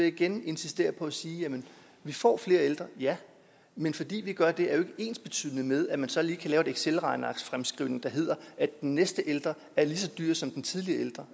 igen insistere på at sige at vi får flere ældre ja men fordi vi gør det er det jo ikke ensbetydende med at man så lige kan lave en excelregnearksfremskrivning der hedder at den næste ældre er lige så dyr som den tidligere ældre